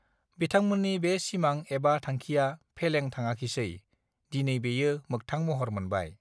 बिथांमोननि बे सिमां एबा थांखिया फेलें थाडाखिसै दिनै बेयो मोगथां महर मोनबाय